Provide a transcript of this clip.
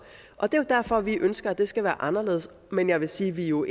og det er jo derfor vi ønsker at det skal være anderledes men jeg vil sige at vi jo